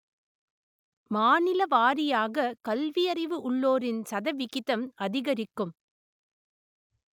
மாநிலவாரியாக கல்வியறிவு உள்ளோரின் சதவிகிதம் அதிகரிக்கும்